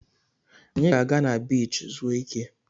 Anyị ga-aga na biichi zuo ike.